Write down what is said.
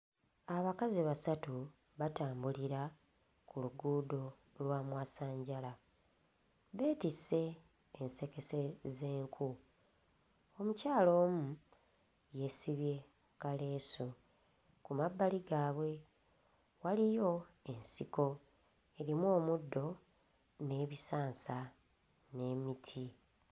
Abakazi abasatu batambulira ku luguudo lwa mwasanjala, beetisse ensekese z'enku. Omukyala omu yeesibye kaleesu. Ku mabbali gaabwe waliyo ensiko erimu omuddo n'ebisansa n'emiti.